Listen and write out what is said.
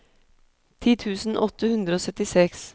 ti tusen åtte hundre og syttiseks